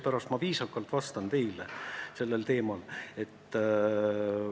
Täna ma vastan teile sellel teemal viisakalt.